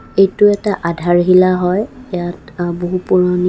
এইটো এটা আধাৰশিলা হয় ইয়াত অ বহু পুৰণি--